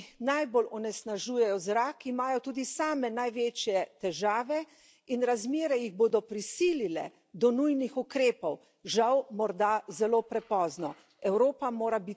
Države, ki najbolj onesnažujejo zrak imajo tudi same največje težave in razmere jih bodo prisilile do nujnih ukrepov, žal morda zelo prepozno.